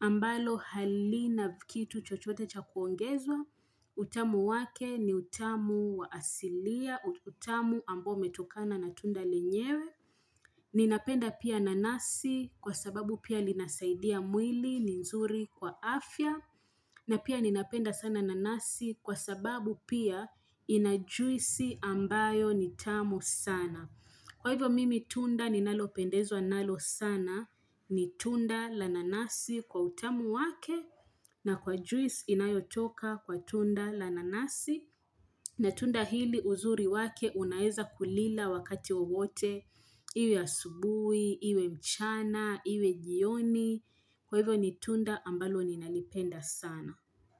ambalo hali na kitu chochote cha kuongezwa, utamu wake ni utamu waasilia, utamu ambao umetokana na tunda lenyewe. Ninapenda pia nanasi kwa sababu pia linasaidia mwili ni nzuri kwa afya, na pia ninapenda sana nanasi kwa sababu pia inajuisi ambayo ni tamu sana. Kwa hivyo mimi tunda ninalopendezwa nalo sana ni tunda la nanasi kwa utamu wake na kwa juice inayotoka kwa tunda la nanasi na tunda hili uzuri wake unaeza kulila wakati wowote iwe asubuhi, iwe mchana, iwe jioni. Kwa hivyo ni tunda ambalo ninalipenda sana.